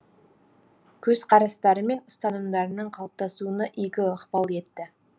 көзқарастары мен ұстанымдарының қалыптасуына игі ықпал етті